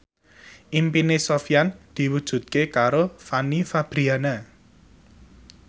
impine Sofyan diwujudke karo Fanny Fabriana